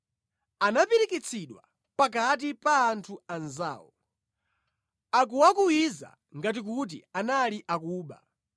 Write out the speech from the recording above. Anapirikitsidwa pakati pa anthu anzawo, akuwakuwiza ngati kuti anali akuba.